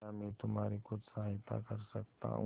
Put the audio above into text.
क्या मैं तुम्हारी कुछ सहायता कर सकता हूं